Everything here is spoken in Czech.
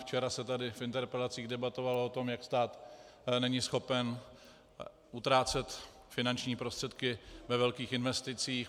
Včera se tady v interpelacích debatovalo o tom, jak stát není schopen utrácet finanční prostředky ve velkých investicích.